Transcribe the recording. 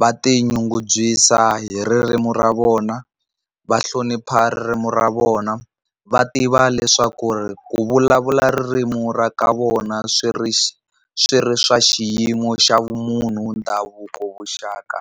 va ti nyungubyisa hi ririmi ra vona va ririmi ra vona va tiva leswaku ku vulavula ririmi ra ka vona swi ri swi ri swa xiyimo xa vumunhu, ndhavuko, vuxaka.